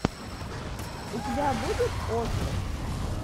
у тебя будет остров